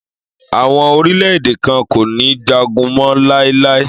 Àwọn orílẹ̀-èdè kan kò ní jagun mọ́ láíláí.